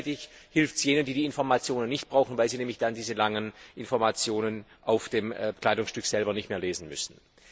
Gleichzeitig hilft es jenen, die diese Informationen nicht brauchen, weil sie nämlich dann diese langen Informationen auf dem Kleidungsstück selber nicht mehr lesen müssen.